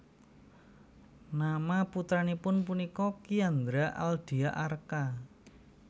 Nama putranipun punika Kiandra Aldia Arka